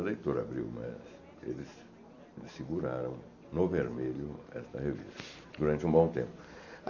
A leitora abriu, mas eles eles seguraram no vermelho esta revista durante um bom tempo.